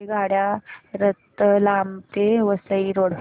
रेल्वेगाड्या रतलाम ते वसई रोड